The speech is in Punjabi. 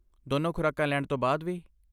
ਦੋਨੋ ਖ਼ੁਰਾਕਾਂ ਲੈਣ ਤੋਂ ਬਾਅਦ ਵੀ?